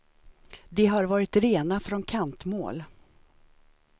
De har varit rena från kantmål.